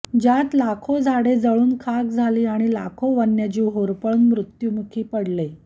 ज्यात लाखो झाडे जळून खाक झाली आणि लाखो वन्यजीव होरपळून मृत्युमुखी पडले